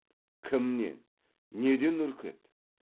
кімнен неден үркеді